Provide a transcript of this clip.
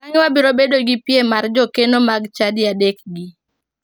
Bang'e wabiro bedo gi piem mar jokeno mag chadi adekgi.